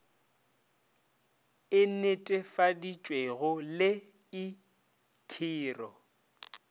e netefaditšwego le i khiro